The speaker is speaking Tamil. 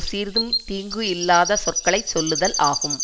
சிறிதும் தீங்கு இல்லாத சொற்களை சொல்லுதல் ஆகும்